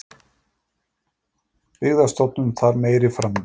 Byggðastofnun þarf meiri framlög